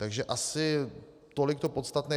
Takže asi tolik to podstatné.